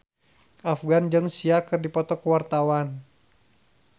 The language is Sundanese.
Afgan jeung Sia keur dipoto ku wartawan